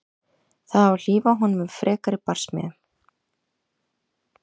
Það á að hlífa honum við frekari barsmíðum.